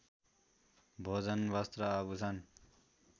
भोजन वस्त्र आभूषण